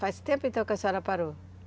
Faz tempo, então, que a senhora parou?